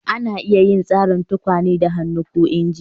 Ana iya yin tsarin yin tukwane da hannu ko inji